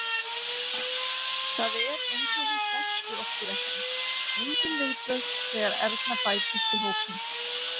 Það er eins og hún þekki okkur ekki, engin viðbrögð þegar Erna bætist í hópinn.